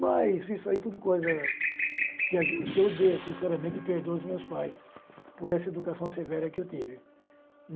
Mas isso aí é tudo coisa que a gen que eu dei, sinceramente, perdoo os meus pais por essa educação severa que eu tive.